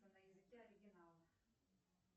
на языке оригинала